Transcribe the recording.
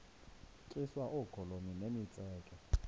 tyiswa oogolomi nemitseke